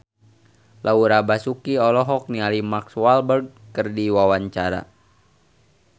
Laura Basuki olohok ningali Mark Walberg keur diwawancara